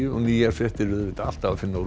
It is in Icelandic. nýjar fréttir er auðvitað alltaf að finna á